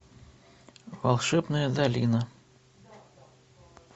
волшебная долина